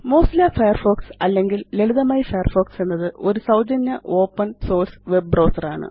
Mozilla Firefox അല്ലെങ്കില് ലളിതമായി Firefox എന്നത് ഒരു സൌജന്യ ഓപ്പണ് സോഴ്സ് വെബ് ബ്രൌസർ ആണ്